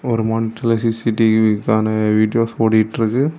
ஒரு மானிட்டர்ல சி_சி_டி_விக்கான வீடியோஸ் ஓடிட்டு இருக்கு.